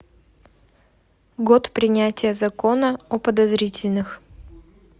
год принятия закона о подозрительных